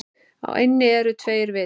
Á eynni eru tveir vitar.